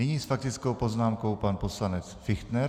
Nyní s faktickou poznámkou pan poslanec Fichtner.